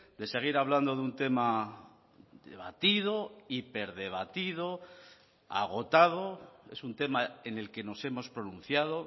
de seguir hablando de un tema debatido hiperdebatido agotado es un tema en el que nos hemos pronunciado